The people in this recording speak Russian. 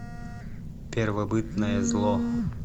первобытное зло